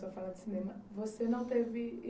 falar de cinema, você não teve